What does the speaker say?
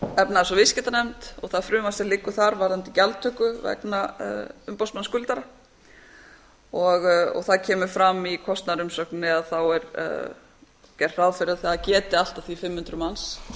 og viðskiptanefnd og það frumvarp sem liggur þar varðandi gjaldtöku vegna umboðsmanns skuldara það kemur fram í kostnaðarumsögninni að er gert ráð fyrir að það geti allt að því fimm hundruð manns